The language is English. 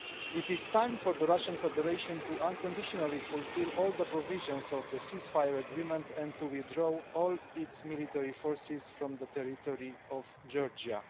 It is time for the Russian Federation to unconditionally fulfil all the provisions of the cease fire agreement and to withdraw all its military forces from the territory of Georgia.